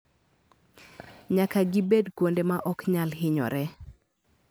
Nyaka gibed kuonde ma ok nyal hinyoree.